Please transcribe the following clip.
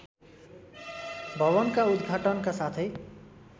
भवनका उदघाटनका साथै